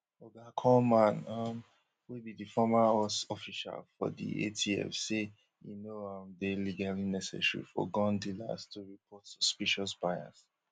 oga kullman um wey be di former us official for di atf say e no um dey legally necessary for gun dealers to report suspicious buyers